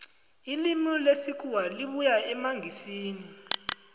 ilimi lesikhuwa libuya emangisini